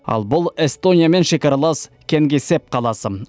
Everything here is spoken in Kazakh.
ал бұл эстониямен шекаралас кенгисепп қаласы